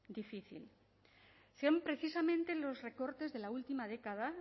difícil son precisamente los recortes de la última década